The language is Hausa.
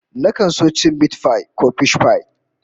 Nakan so cin mitipai ko fishpai